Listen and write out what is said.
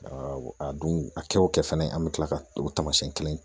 a dun a kɛ o kɛ fɛnɛ an bɛ tila ka o tamasiyɛn kelen ye